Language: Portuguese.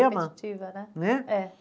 Repetitiva, né? Né? É